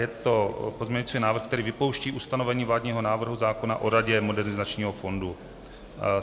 Je to pozměňovací návrh, který vypouští ustanovení vládního návrhu zákona o Radě Modernizačního fondu.